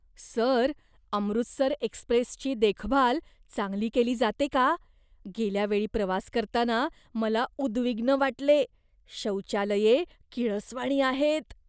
Sir, Amritsar एक्स्प्रेसची देखभाल चांगली केली जाते का? गेल्या वेळी प्रवास करताना मला उद्विग्न वाटले. शौचालये किळसवाणी आहेत.